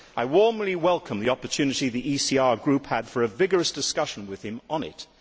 I warmly welcome the opportunity the ECR Group had for a vigorous discussion with him on it.